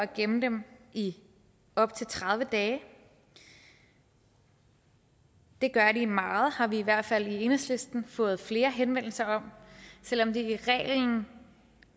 gemme dem i op til tredive dage og det gør de meget det har vi i hvert fald i enhedslisten fået flere henvendelser om selv om det er reglen